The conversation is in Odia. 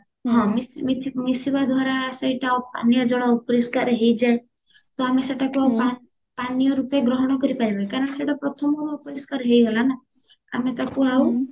ହଁ ସେମିତି ମିଶିବା ଦ୍ଵାରା ହଁ ସେଇଟା ପାନୀଯ ଜଳ ଅପରିଷ୍କାର ହେଇଯାଏ ତ ଆମେ ସେଟାକୁ ଆଉ ପାନୀୟ ରୂପେ ଗ୍ରହଣ କରିପାରିବା କି କାରଣ ସେଟା ପ୍ରଥମରୁ ଅପରିଷ୍କାର ହେଇଗଲା ନାଁ ଆମେ ତାକୁ ଆଉ